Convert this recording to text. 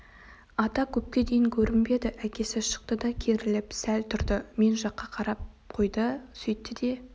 ата көпке дейін көрінбеді әкесі шықты да керіліп сәл тұрды мен жаққа қарап қойды сөйтті де